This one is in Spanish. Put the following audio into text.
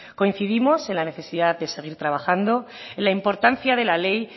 coincidimos en la necesidad de seguir trabajando en la importancia de la ley